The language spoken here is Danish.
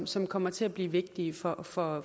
som kommer til at blive vigtige for for